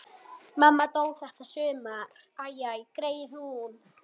Mamma dó þetta sumar.